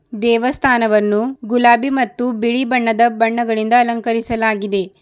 ದೇವಸ್ಥಾನವನ್ನು ಗುಲಾಬಿ ಮತ್ತು ಬಿಳಿ ಬಣ್ಣದ ಬಣ್ಣಗಳಿಂದ ಅಲಂಕರಿಸಲಾಗಿದೆ.